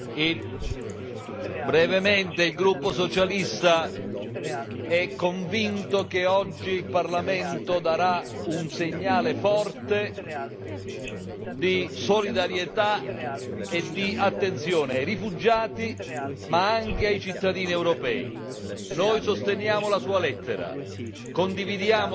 Signor Presidente, onorevoli colleghi, brevemente, il gruppo socialista è convinto che oggi il Parlamento darà un segnale forte di solidarietà e di attenzione ai rifugiati, ma anche ai cittadini europei. Noi sosteniamo la sua lettera, condividiamo lo spirito